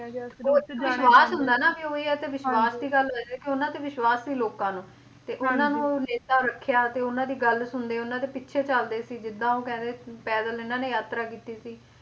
ਉਹ ਵਿਸ਼ਵਾਸ ਹੁੰਦਾ ਨਾ ਉਹੀ ਆ ਵਿਸ਼ਵਾਸ ਦੀ ਗੱਲ ਆ ਕੇ ਉਹਨਾਂ ਤੇ ਵਿਸ਼ਵਾਸ ਸੀ ਲੋਕਾਂ ਨੂੰ ਤੇ ਉਹਨਾਂ ਨੂੰ ਨੇਤਾ ਰੱਖਿਆ ਤੇ ਉਹਨਾਂ ਦੀ ਗੱਲ ਸੁਣਦੇ ਸੀ ਉਹਨਾਂ ਦੇ ਪਿੱਛੇ ਚਲਦੇ ਸੀ ਜਿਦਾਂ ਉਹ ਕਹਿੰਦੇ ਸੀ ਪੈਦਲ ਇਹਨਾਂ ਨੇ ਯਾਤਰਾ ਕੀਤੀ ਸੀ